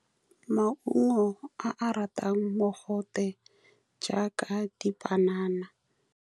Maungo a a ratang mogote, jaaka dipanana.